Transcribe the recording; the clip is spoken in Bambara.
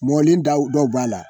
Mɔlen daw dɔw b'a la